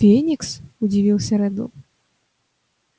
феникс удивился реддл